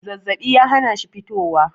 zazzabi ya hana shi fitowa